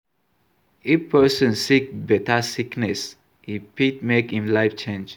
If person sick better sickness, e fit make im life change